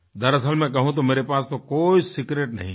दरअसल मैं कहूँ तो मेरे पास तो कोई सीक्रेट नहीं है